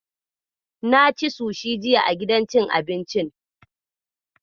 Na ci sushi jiya a gidan cin abincin.